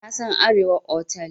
Na san Arewa otal.